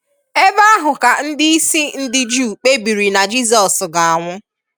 Ebe ahụ ka ndị isi ndị Juu kpebiri na Jizọs ga-anwụ.